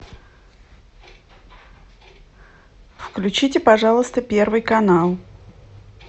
включите пожалуйста первый канал